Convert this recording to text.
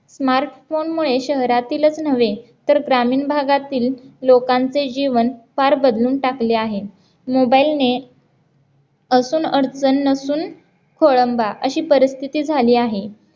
smart phone मुळे शहरातीलच नव्हे तर ग्रामीण भागातील लोकांचे जीवन फार बदलून टाकले आहे mobile ने असून अडचण नसून खोळंबा अशी परिस्थिती झाली आहे